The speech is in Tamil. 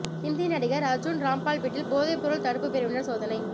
ஹிந்தி நடிகா் அா்ஜுன் ராம்பால் வீட்டில் போதைப்பொருள் தடுப்புப் பிரிவினா் சோதனை